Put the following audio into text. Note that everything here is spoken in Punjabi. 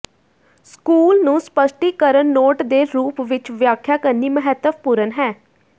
ਸਕੂਲ ਨੂੰ ਸਪੱਸ਼ਟੀਕਰਨ ਨੋਟ ਦੇ ਰੂਪ ਵਿੱਚ ਵਿਆਖਿਆ ਕਰਨੀ ਮਹੱਤਵਪੂਰਨ ਹੈ